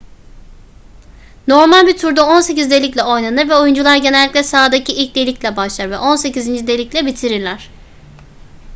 normal bir turda on sekiz delikle oynanır ve oyuncular genellikle sahadaki ilk delikle başlar ve on sekizinci delikle bitirirler